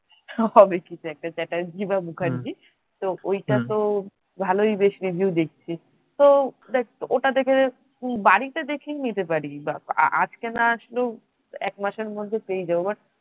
হবে কিছু একটা চ্যাটার্জি বা মুখার্জি তো ওইটা তো ভালই বেশ review দেখছি তো দেখ ওটা দেখে বাড়িতে দেখই নিতে পারিস বা আজকে না আসলেও এক মাসের মধ্যে পেয়েই যাবো।